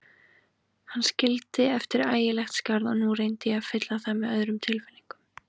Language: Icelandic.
Hann skildi eftir ægilegt skarð og nú reyndi ég að fylla það með öðrum tilfinningum.